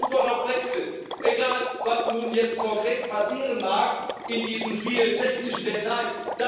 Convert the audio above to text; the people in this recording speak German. Das ist die Antwort auf den Brexit egal, was nun jetzt konkret passieren mag in diesen vielen technischen Details.